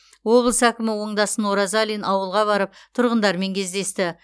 облыс әкімі оңдасын оразалин ауылға барып тұрғындармен кездесті